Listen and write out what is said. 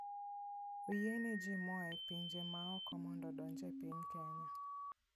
Oyiene ji moa e pinje mamoko mondo odonj e piny Kenya.